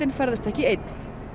ferðast ekki einn